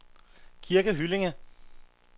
Kirke Hyllinge